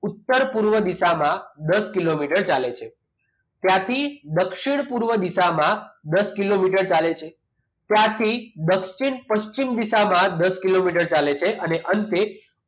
ઉત્તર પૂર્વ દિશા માં દસ કિલોમીટર ચાલે છે ત્યાંથી દક્ષિણ પૂર્વ દિશામાં દસ કિલોમીટર ચાલે છે ત્યાંથી દક્ષિણ પશ્ચિમ દિશામાં દસ કિલોમીટર ચાલે છે અને અંતે